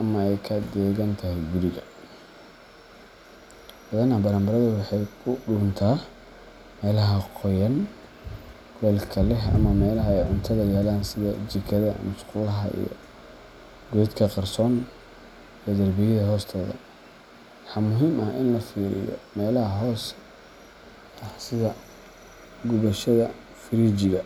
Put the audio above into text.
ama ay ka degan tahay guriga. Badanaa, baranbaradu waxay ku dhuuntaa meelaha qoyan, kuleylka leh, ama meelaha ay cuntada yaallaan sida jikada, musqulaha, iyo godadka qarsoon ee darbiyada hoostooda. Waxaa muhiim ah in la fiiriyo meelaha hooska ah sida gubashada frijiga.